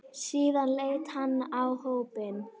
Síðan leit hann á hópinn.